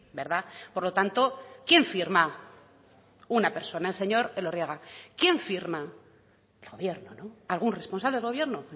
verdad por lo tanto quién firma una persona el señor elorriaga quién firma el gobierno algún responsable del gobierno